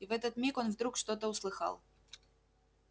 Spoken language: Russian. и в этот миг он вдруг что-то услыхал